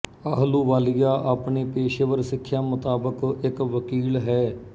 ਆਹਲੂਵਾਲੀਆ ਆਪਣੀ ਪੇਸ਼ੇਵਰ ਸਿੱਖਿਆ ਮੁਤਾਬਿਕ ਇੱਕ ਵਕੀਲ ਹੈ